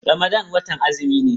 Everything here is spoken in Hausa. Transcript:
Ramadan watan azumi ne.